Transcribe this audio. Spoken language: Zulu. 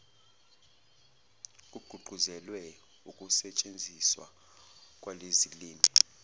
kugqugquzelwe ukusentshenziswa kwalezilimi